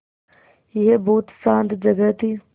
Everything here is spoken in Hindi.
यह बहुत शान्त जगह थी